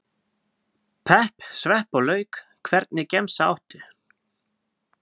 pepp, svepp og lauk Hvernig gemsa áttu?